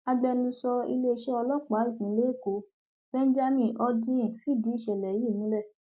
agbẹnusọ iléeṣẹ ọlọpàá ìpínlẹ èkó benjamin hondyin fìdí ìṣẹlẹ yìí múlẹ